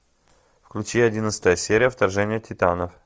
включи одиннадцатая серия вторжение титанов